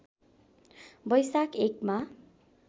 वैशाख १ मा